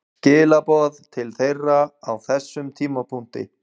Skilaboð til þeirra á þessum tímapunkti?